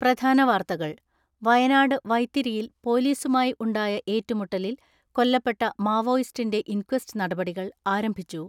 പ്രധാന വാർത്തകൾ വയനാട് വൈത്തിരിയിൽ പൊലീസുമായി ഉണ്ടായ ഏറ്റു മുട്ടലിൽ കൊല്ലപ്പെട്ട മാവോയിസ്റ്റിന്റെ ഇൻക്വസ്റ്റ് നടപടി കൾ ആരംഭിച്ചു.